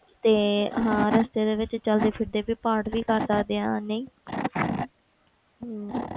ਤੇ ਹਾਂ ਰਸਤੇ ਦੇ ਵਿੱਚ ਚੱਲਦੇ ਫਿਰਦੇ ਵੀ ਪਾਠ ਵੀ ਕਰ ਸਕਦੇ ਹਾਂ, ਨਹੀਂ ਹਮ